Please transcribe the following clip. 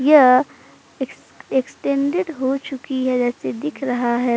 यह ex extended हो चुकी है जैसे दिख रहा है।